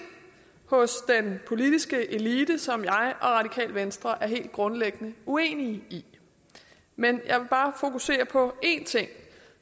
hos den politiske elite som jeg og radikale venstre er helt grundlæggende uenige i men jeg vil bare fokusere på én ting